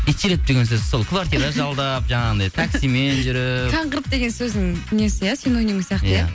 итшілеп деген сөз сол квартира жалдап жаңағындай таксимен жүріп қаңғырып деген сөздің несі иә синонимі сияқты иә